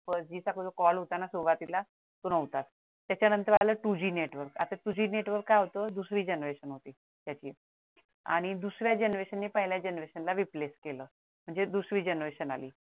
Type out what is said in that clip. first G चा पण call होता ना सुरुवातीला तो नव्हता त्याच्यानंतर आलं two G network आता network काय होत दुसरी generation होती त्याची आणि दुसऱ्या generation ने पहिल्या generation ला replace केलं म्हणजे दुसरी generation आली